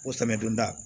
Ko samiyonda